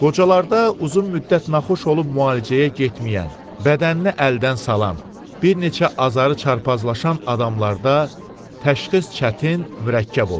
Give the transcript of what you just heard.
qocalarda uzun müddət naxoş olub müalicəyə getməyən, bədənini əldən salan, bir neçə azarı çarpazlaşan adamlarda təşxis çətin, mürəkkəb olur.